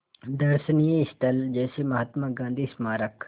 दर्शनीय स्थल जैसे महात्मा गांधी स्मारक